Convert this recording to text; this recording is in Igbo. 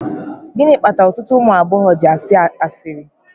Gịnị kpatara ọtụtụ ụmụ agbọghọ ji asị asịrị